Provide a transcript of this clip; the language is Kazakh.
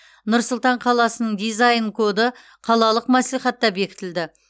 нұр сұлтан қаласының дизайн коды қалалық мәслихатта бекітілді